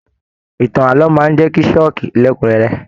Ìtàn ààlọ́ máa n jẹ ṣókí lẹkunrẹrẹ.